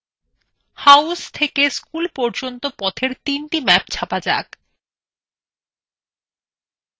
house থেকে school পর্যন্ত পথের তিনটি ম্যাপ ছাপা যাক